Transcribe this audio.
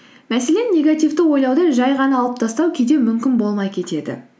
мәселен негивті ойлауды жай ғана алып тастау кейде мүмкін болмай кетеді